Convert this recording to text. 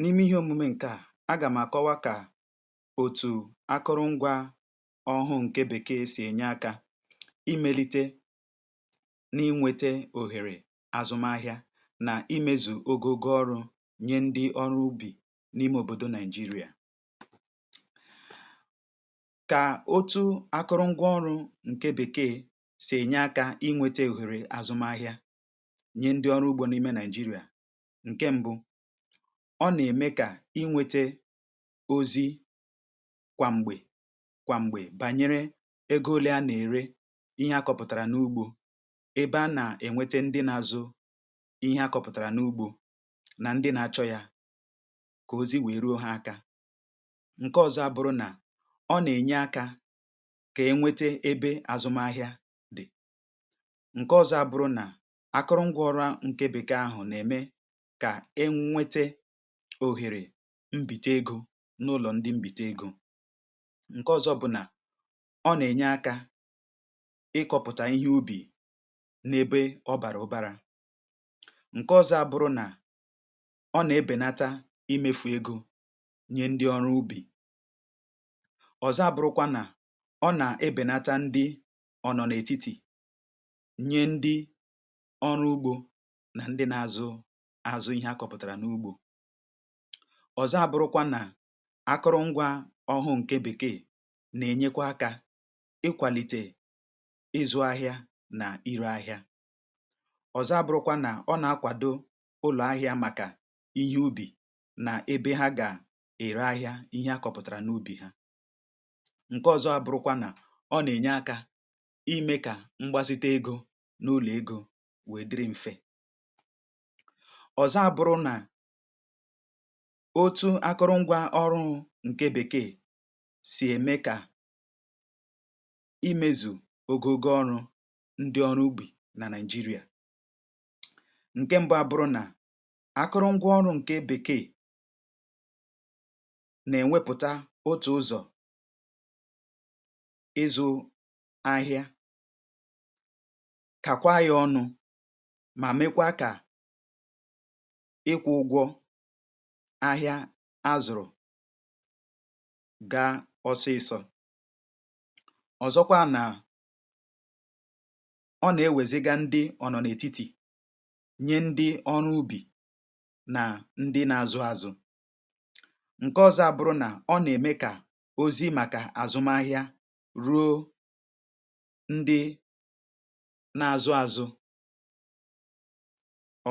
N’ime ihe omume nke à, agà m̀ à kọwa kà, òtù akụrụngwa ọhụụ ǹke bèkee sì ènye akȧ imelite n’inwėte òhèrè azụm ahị̇ȧ nà imėzù ogogo ọrụ̇ nye ndị ọrụ ubì n’ime òbòdo Naị̀jịrịà: kà otu akụrụngwa ọrụ̇ ǹke bèkee sì ènye akȧ inwėtė òhèrè azụm ahị̇ȧ nye ndị ọrụ ùgbò n'ime Naị̀jịrịà. Nkè ṁbụ, ọ nà-ème kà inwėtė ozi kwàmgbè kwàmgbè bànyere egȯ ole a nà-ère ihe akọ̇pụ̀tàrà n’ugbȯ, ebe a nà-ènwete ndị n’azụ, ihe akọ̇pụ̀tàrà n’ugbȯ nà ndị na-achọ̇ ya kà ozi wèe ruo ha akȧ. Nkè ọzọ abụrụ nà, ọ nà-ènye akȧ kà enwete ebe àzụm ahịa dị.̀ Nkè ọzọ abụrụ nà, akụrụngwa ọhuụ nke bèkee ahụ,̀ nà-ème ka enwètè òhèrè mbìtè egȯ n’ụlọ̀ ndị mbìtè egȯ. Nkè ọ̇zọ̇ bụ̀ nà, ọ nà-ènye akȧ n'ịkọ̇pụ̀tà ihe ubì n’ebe ọ bàrà ụbàrà. Nkè ọ̇zọ̇ abụrụ nà, ọ nà-ebènata imefù egȯ nye ndị ọrụ ubì. Ọzọ abụrụkwa nà, ọ nà-ebènata ndị ọ̀nọ̀ n’ètitì nye ndị ọrụ ugbȯ na ndị na-azụ, azu ìhe akọ̇pụ̀tàrà n’ugbȯ. ̀Ọzọ abụrụkwa nà, akụrụ ngwa ọhụụ ǹke bèkee nà-ènyekwa akȧ ikwàlìtè ịzụ ahịa nà irė ahịa. Ọzọ abụrụkwa nà ọ nà-akwàdo ụlọ̀ahịa màkà ihe ubì nà ebe ha gà-ère ahịa ihe akọ̇pụ̀tàrà n’ubì ha. Nke ọzọ abụrụkwa nà, ọ nà-ènye akȧ imė kà mgbazite egȯ n’ụlọ̀ egȯ wèe dịrị mfẹ. Ọzo abụrụ na, otu akụrụngwa ọhụrụ ṅ̀ke bèkee sì ème kà imėzù ogogo ọrụ̇ ndi ọrụ ubi nà Naị̀jịrịà. Nke mbụ abụrụ nà, akụrụngwa ọrụ̇ ṅ̀ke bèkee nà-ènwepùta otù ụzọ ̀ ịzụ̇ ahịa kà kwaà yȧ ọnụ̇ ma mekwa kà ikwù ụgwọ ahịa azụrụ̀ gaa ọsụịsọ. Ọzọkwa nà, ọ nà-ewèziga ndị ọ nọ n’ètitì, nye ndị ọrụ ubì nà ndị n’azụ̇ azụ̇. Nkè ọzọ abụrụ̇ nà, ọ nà-ème kà ozi màkà azụmahịa ruo ndị n’azụ̇ azụ̇